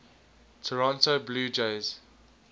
toronto blue jays